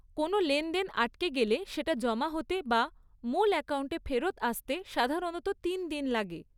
কোনও লেনদেন আটকে গেলে সেটা জমা হতে বা মূল অ্যাকাউন্টে ফেরত আসতে সাধারণত তিন দিন লাগে।